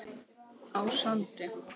á Sandi.